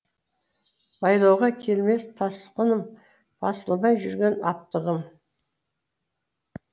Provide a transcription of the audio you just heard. байлауға келмес тасқыным басылмай жүрген аптығым